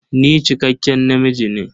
Ni cikakken namiji ne.